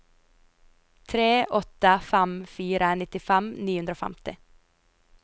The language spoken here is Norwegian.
tre åtte fem fire nittifem ni hundre og femti